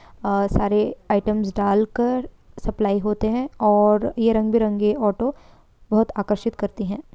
और सारे आइटम्स डालकर सप्लाई होते हैं और ये रंग बिरंगे ऑटो बहोत आकर्षित करते हैं।